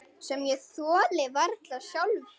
Réttu mér hana